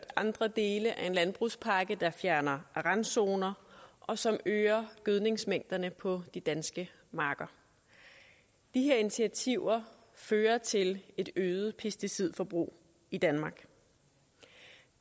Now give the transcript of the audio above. andre dele af en landbrugspakke der fjerner randzoner og som øger gødningsmængderne på de danske marker de her initiativer fører til et øget pesticidforbrug i danmark